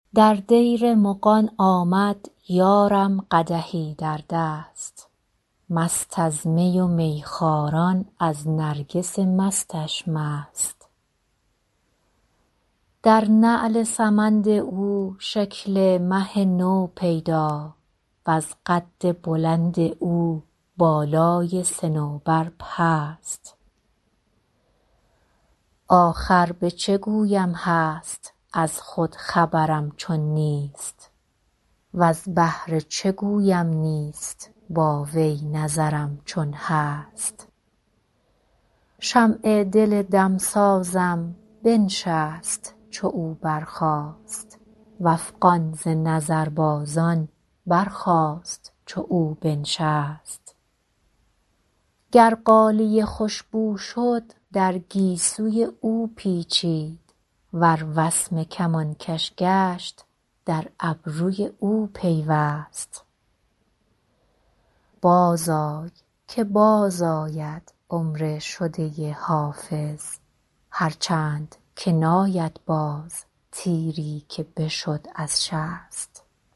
در دیر مغان آمد یارم قدحی در دست مست از می و میخواران از نرگس مستش مست در نعل سمند او شکل مه نو پیدا وز قد بلند او بالای صنوبر پست آخر به چه گویم هست از خود خبرم چون نیست وز بهر چه گویم نیست با وی نظرم چون هست شمع دل دمسازم بنشست چو او برخاست و افغان ز نظربازان برخاست چو او بنشست گر غالیه خوش بو شد در گیسوی او پیچید ور وسمه کمانکش گشت در ابروی او پیوست بازآی که بازآید عمر شده حافظ هرچند که ناید باز تیری که بشد از شست